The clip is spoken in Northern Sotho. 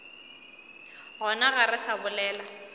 gona ga re sa bolela